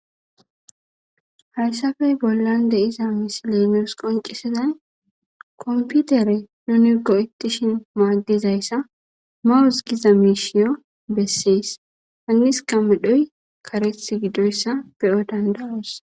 hayssafey bollan deiza misilenes qoncesezay komputere nuni goittishin maaddizayssa mawus giza mishiyo bessees hannis kamedhoy kareth gidoyssa beyo dandaros